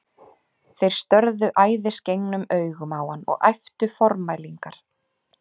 Þeir störðu æðisgengnum augum á hann og æptu formælingar.